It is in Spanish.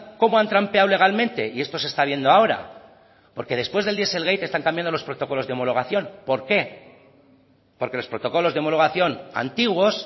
cómo han trampeado legalmente y esto se está viendo ahora porque después del dieselgate están cambiado los protocolos de homologación por qué porque los protocolos de homologación antiguos